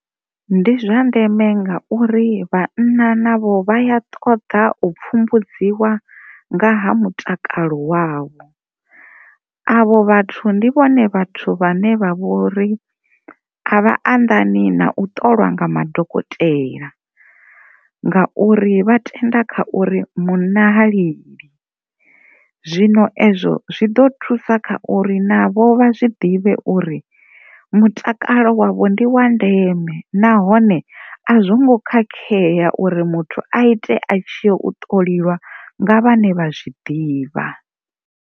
Ndi zwa ndeme ngauri vhanna navho vha ya ṱoḓa u pfhumbudziwa nga ha mutakalo wavho avho vhathu ndi vhone vhane vha vhori a vha anḓani na u ṱolwa nga madokotela ngauri vha tenda kha uri munna ha lili, zwino ezwo zwi ḓo thusa kha uri navho vha si ḓivhe uri mutakalo wavho ndi wa ndeme nahone a zwo ngo khakhea uri muthu a ite a tshi ya u ṱoliwa nga vhane vha zwi ḓivha.